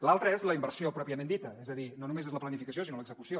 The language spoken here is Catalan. l’altre és la inversió pròpiament dita és a dir no només és la planificació sinó l’execució